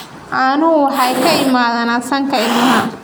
caanuhu waxay ka yimaadaan sanka ilmaha.